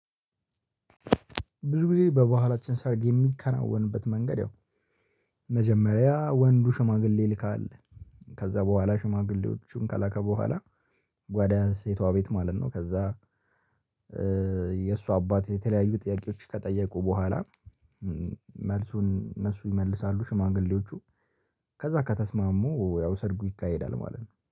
ብዙ ጊዜ በባላችን ሰርግ የሚከናወንበት መንገድ ያው መጀመሪያ ወንዱ ሽማግሌ ይልካል። ከዛ በኋላ ሽማግሌዎቹን ከላከ በኋላ ወደ ሴቷ ቤት ማለት ነው። ከዛ የእሷ አባት የተለያዩ ጥያቄዎች ከጠየቁ በኋላ መልሱን እነሱ ይመልሳሉ። ሽማግሌዎቹ ከዛ ከተስማሙ ያው ሰርጉ ይካሄዳል ማለት ነው